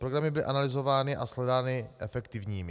Programy byly analyzovány a shledány efektivními.